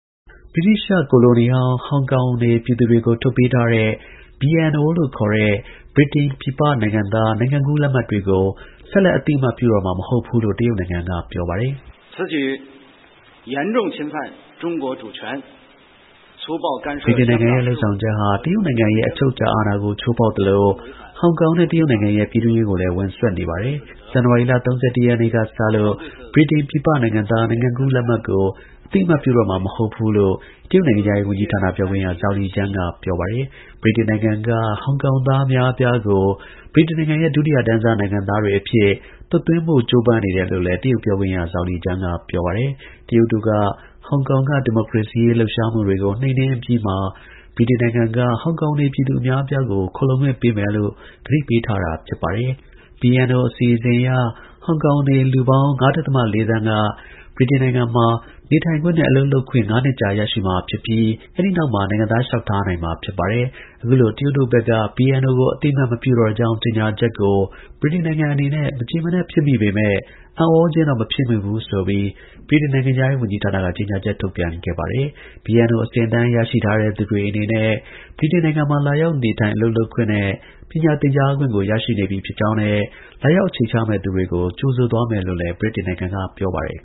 ဗြိတိသျှကိုလိုနီဟောင်း ဟောင်ကောင်နေပြည်သူတွေကို ထုတ်ပေးထားတဲ့ BNO လို့ခေါ်တဲ့ဗြိတိန်ပြည်ပနိုင်ငံသားနိုင်ငံကူးလက်မှတ်တွေကို ဆက်လက် အသိအမှတ်ပြုတော့မှာ မဟုတ်ဘူးလို့ တရုတ်နိုင်ငံက ပြောပါတယ်။ “BNO လို့ ခေါ်တဲ့ နိုင်ငံကူး လက်မှတ်က အရင်ကလို ဆက်ပြီး ရှိနေမှာ မဟုတ်တော့ပါဘူး။ ဗြိတိန်နိုင်ငံရဲ့ လုပ်ဆောင်ချက်ဟာ တရုတ် နိုင်ငံ ရဲ့အချုပ်အခြာ အာဏာကို ချိုးဖောက်သလို ဟောင်ကောင်နဲ့ တရုတ်နိုင်ငံရဲ့ ပြည်တွင်းရေးကိုလည်း ဝင်စွက်နေပါတယ်။ ဇန်နဝါရီလ ၃၁ ရက်နေ့က စပြီး ဗြိတိန်ပြည်ပနိုင်ငံသားနိုင်ငံကူးလက်မှတ်ကို အသိအမှတ် ပြုတော့မှာ မဟုတ်ပါဘူး” လို့ တရုတ် နိုင်ငံခြားရေး ဝန်ကြီးဌာန ပြောခွင့်ရ Zhao Lijian က ပြောပါတယ်။ ဗြိတိန်နိုင်ငံက ဟောင်ကောင်သား အများအပြားကို ဗြိတိန်နိုင်ငံရဲ့ ဒုတိယတန်းစား နိုင်ငံသားတွေ အဖြစ် သွတ်သွင်းဖို့ ကြိုးပမ်းနေ တယ်လို့လည်း တရုတ် ပြောခွင့်ရ Zhao Lijian က ပြောပါတယ်။ တရုတ်တို့က ဟောင်ကောင်က ဒီမိုကရေစီ လှုပ်ရှားမှုတွေကို နှိမ်နင်းအပြီးမှာ ဗြိတိန်နိုင်ငံက ဟောင်ကောင်နေပြည်သူ အများအပြားကို ခိုလှုံခွင့်ပေးမယ်လို့ ကတိပေးထားခဲ့တာပါ။ BNO အစီအစဉ်အရ ဟောင်ကောင်နေ လူပေါင်း ၅. ၄ သန်းက ဗြိတိန်နိုင်ငံမှာ နေထိုင်ခွင့်နဲ့ အလုပ်လုပ်ခွင့် ငါးနှစ်ကြာ ရရှိမှာဖြစ်ပြီး အဲဒီနောက်မှာ နိုင်ငံသား လျှောက်ထားနိုင်မှာ ဖြစ်ပါတယ်။ အခုလို တရုတ်တို့ကဘက်က BNO ကို အသိအမှတ်မပြုတော့ကြောင်း ကြေညာချက်ကို ဗြိတိန်နိုင်ငံ အနေနဲ့ မကျေမနပ် ဖြစ်မိပေမယ့် အံ့ဩ ခြင်းတော့ မဖြစ်မိဘူးဆိုပြီးဗြိတိန် နိုင်ငံခြားရေးဝန်ကြီးဌာနက ကြေညာချက် ထုတ်ပြန် ခဲ့ပါတယ်။ BNO အဆင့်အတန်း ရရှိထားသူတွေ အနေနဲ့ ဗြိတိန်နိုင်ငံမှာ လာရောက် နေထိုင်၊ အလုပ်လုပ်ခွင့်နဲ့ ပညာသင်ကြားခွင့်ကို ရရှိနေပြီ ဖြစ်ကြောင်းနဲ့ လာရောက် အခြေချမယ့်သူတွေကို ကြိုဆိုသွားမယ်လို့လည်း ဗြိတိန်နိုင်ငံက ပြောပါတယ်